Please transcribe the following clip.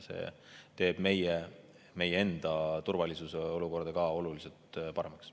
See teeb meie enda turvalisuse olukorra ka oluliselt paremaks.